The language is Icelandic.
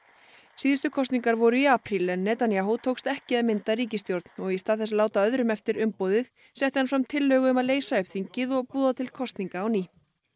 síðustu kosningar voru í apríl en Netanyahu tókst ekki að mynda ríkisstjórn og í stað þess að láta öðrum eftir umboðið setti hann fram tillögu um að leysa upp þingið og boða til kosninga á ný